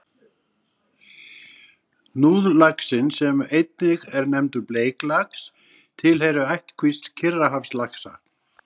Hnúðlaxinn, sem einnig er nefndur bleiklax, tilheyrir ættkvísl Kyrrahafslaxa.